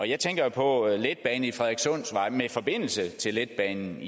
jeg tænker jo på en letbane på frederikssundsvej med forbindelse til letbanen